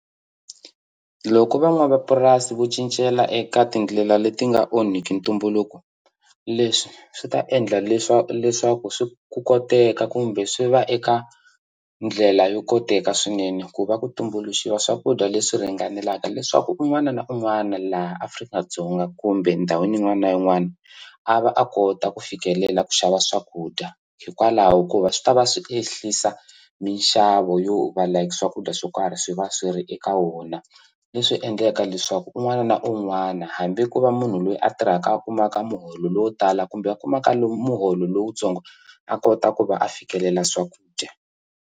Loko van'wamapurasi vo cincela eka tindlela leti nga onhiki ntumbuluko leswi swi ta endla leswaku swi ku koteka kumbe swi va eka ndlela yo koteka swinene ku va ku tumbuluxiwa swakudya leswi ringanelaka leswaku un'wana na un'wana laha Afrika-Dzonga kumbe ndhawini yin'wana na yin'wana a va a kota ku fikelela ku xava swakudya hikwalaho hikuva swi ta va swi ehlisa minxavo yo va like swakudya swo karhi swi va swi ri eka wona leswi endlaka leswaku un'wana na un'wana hambi ko va munhu loyi a tirhaka a kumaka muholo lowo tala kumbe a kumaka muholo lowutsongo a kota ku va a fikelela swakudya.